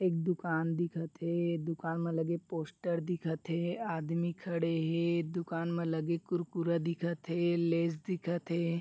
एक दुकान दिखत हे दुकान म लगे पोस्टर दिखत हे आदमी खड़े हे दुकान म लगे कुरकुरा दिखत हे लेस दिखत हे।